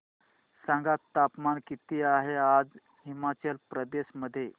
सांगा तापमान किती आहे आज हिमाचल प्रदेश मध्ये